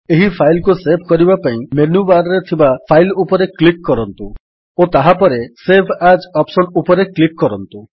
ଏହି ଫାଇଲ୍ କୁ ସେଭ୍ କରିବା ପାଇଁ ମେନୁ ବାର୍ ରେ ଥିବା ଫାଇଲ୍ ଉପରେ କ୍ଲିକ୍ କରନ୍ତୁ ଓ ତାହାପରେ ସେଭ୍ ଏଏସ୍ ଅପ୍ସନ୍ ଉପରେ କ୍ଲିକ୍ କରନ୍ତୁ